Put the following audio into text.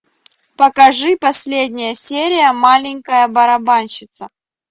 покажи последняя серия маленькая барабанщица